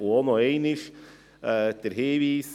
Auch diesen Hinweis wiederhole ich: